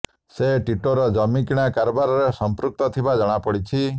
ସେ ଟିଟୋର ଜମି କିଣା କାରବାରରେ ସଂପୃକ୍ତ ଥିବା ଜଣାପଡ଼ିଛି